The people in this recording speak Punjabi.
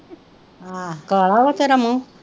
ਹਾਂ ਕਾਲਾ ਵਾ ਤੇਰਾ ਮੂੰਹ